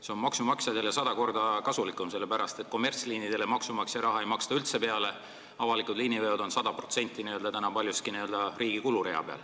See on maksumaksjatele sada korda kasulikum, sellepärast et kommertsliinidele ei maksta maksumaksja raha üldse peale, avalikud liiniveod on aga paljuski n-ö riigi kulurea peal.